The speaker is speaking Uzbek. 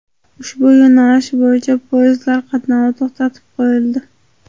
Ushbu yo‘nalish bo‘yicha poyezdlar qatnovi to‘xtatib qo‘yildi.